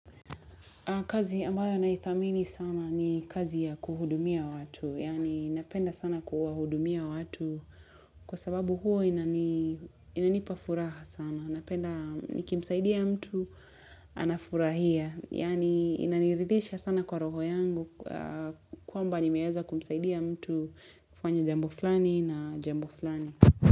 Kazi ambayo naithamini sana ni kazi ya kuhudumia watu. Yani napenda sana kuwahudumia watu kwa sababu huo inanipafuraha sana. Napenda nikimsaidia mtu anafurahia. Yani inaniridhisha sana kwa roho yangu kwamba nimeeza kumsaidia mtu kufanya jambo flani na jambo flani.